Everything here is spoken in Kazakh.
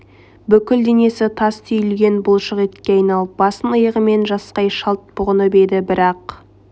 бүкіл денесі тас түйілген бұлшық етке айналып басын иығымен жасқай шалт бұғынып еді бірақ